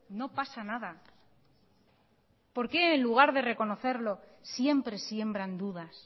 no pasa nada por qué en lugar de reconocerlo siempre siembran dudas